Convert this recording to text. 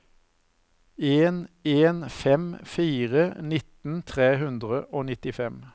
en en fem fire nitten tre hundre og nittifem